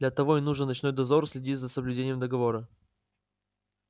для того и нужен ночной дозор следить за соблюдением договора